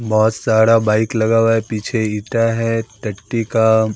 बहोत सारा बाइक लगा हुआ है पीछे इटा है टट्टी का--